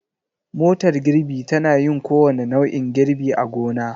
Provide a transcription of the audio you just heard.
Motar girbi tana yin kowane nau'in girbi a gona.